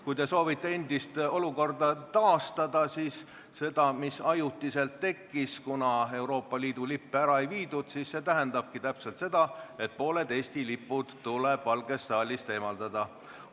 Kui te soovite endist olukorda taastada – seda, mis ajutiselt tekkis, kuna Euroopa Liidu lippe ära ei viidud –, siis see tähendabki täpselt seda, et pooled Eesti lipud tuleb Valgest saalist eemaldada.